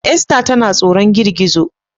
Esta tana tsoron girgizo